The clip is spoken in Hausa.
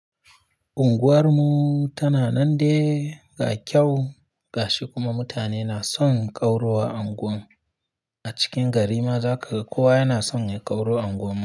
Unguwar mu tana nan dai ga kyau ga shi kuma mutane na son ƙaurawa unguwa. A cikin garin ma za ka ga kowa yana son ya ƙaura unguwar mu.